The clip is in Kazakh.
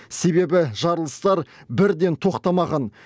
себебі жарылыстар бірден тоқтамаған